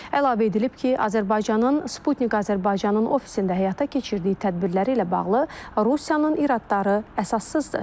Əlavə edilib ki, Azərbaycanın Sputnik Azərbaycanın ofisində həyata keçirdiyi tədbirləri ilə bağlı Rusiyanın iradları əsassızdır.